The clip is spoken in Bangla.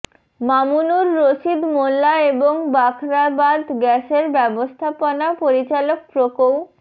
মামুনুর রশিদ মোল্লা এবং বাখরাবাদ গ্যাসের ব্যবস্থাপনা পরিচালক প্রকৌ